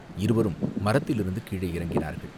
இருவரும் மரத்திலிருந்து கீழே இறங்கினார்கள்.